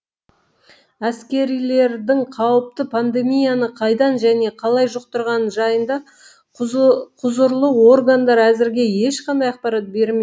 әскерилердің қауіпті пандемияны қайдан және қалай жұқтырғаны жайында құзырлы органдар әзірге ешқандай ақпарат бермеді